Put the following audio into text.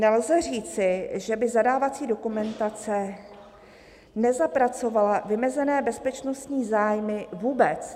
Nelze říci, že by zadávací dokumentace nezapracovala vymezené bezpečnostní zájmy vůbec."